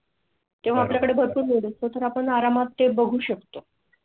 तेव्हा आपल्याकडे भरपूर वेळ असतो तर आपण आरामात ते बघू शकतो